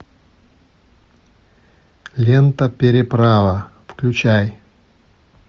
лента переправа включай